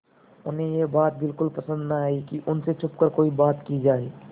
उन्हें यह बात बिल्कुल पसन्द न आई कि उन से छुपकर कोई बात की जाए